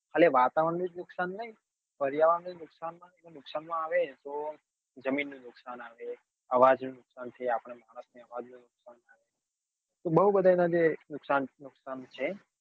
એટલે વાતાવરણ નું જ નુકસાન નહિ પર્યાવરણ તો જમીન નું નુકસાન આઅવે આવાજ નું નુકસાન થી આપડે માણસ ને આવાજ નું નુકસાન થાય તો બઉ બધા એના નુકસાન છે